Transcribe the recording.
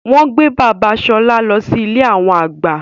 Wọn gbé bàbà Ṣọlá lọ sí ilé awọn àgbà